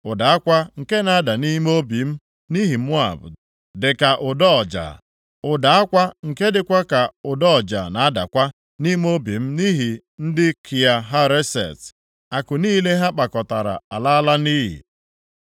“Ụda akwa nke na-ada nʼime obi m nʼihi Moab dịka ụda ọja. Ụda akwa nke dịkwa ka ụda ọja na-adakwa nʼime obi m nʼihi ndị Kia Hareset. Akụ niile ha kpakọtara alaala nʼiyi.